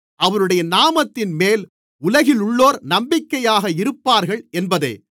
அவருடைய நாமத்தின்மேல் உலகிலுள்ளோர் நம்பிக்கையாக இருப்பார்கள் என்பதே